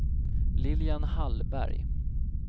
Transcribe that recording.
Lilian Hallberg